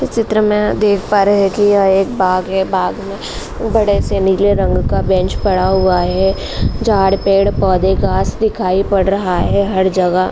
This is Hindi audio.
इस चित्र में हम देख पा रहे हैं कि यह एक बाग है। बाग़ में बड़े से नीले रंग का बेंच पड़ा हुआ है। झाड़ पेड़-पौधे घास दिखाई पड़ रहा है हर जगह।